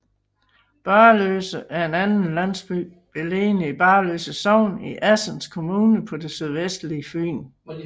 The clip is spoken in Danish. Barløse er en landsby beliggende i Barløse Sogn i Assens Kommune på det sydvestlige Fyn